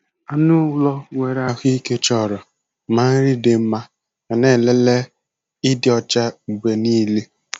Anụ ụlọ nwere ahụike chọrọ ma nri dị mma yana nlele ịdị ọcha mgbe niile.